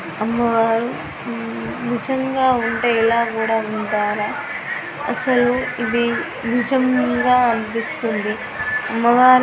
అమ్మ వారు నిజంగా ఉంటే ఇలా కూడా ఉంటారా అసలు ఇవి నిజంగా అనిపిస్తుంది అమ్మవారే --